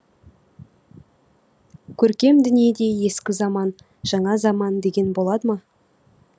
көркем дүниеде ескі заман жаңа заман деген бола ма